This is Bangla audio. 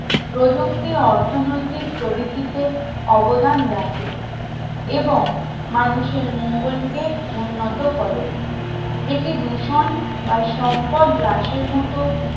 প্রযুক্তি অর্থনৈতিক প্রবৃতিতে অবদান রাখে এবং মানুষের মঙ্গল কে উন্নত করে এতে দূষণ বা সম্পদ হ্রাসের মতো